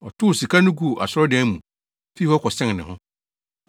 Ɔtow sika no guu asɔredan no mu, fii hɔ kɔsɛn ne ho.